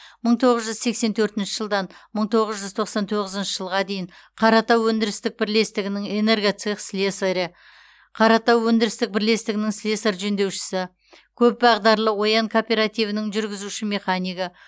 мың тоғыз жүз сексен төртінші жылдан мың тоғыз жүз тоқсан тоғызыншы жылға дейін қаратау өндірістік бірлестігінің энергоцех слесарі қаратау өндірістік бірлестігінің слесарь жөндеушісі көпбағдарлы оян кооперативінің жүргізуші механигі